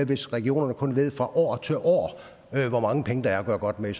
hvis regionerne kun ved fra år til år hvor mange penge der er at gøre godt med